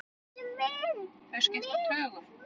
Þau skipta tugum.